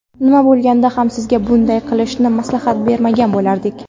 Nima bo‘lganda ham sizga bunday qilishni maslahat bermagan bo‘lardik.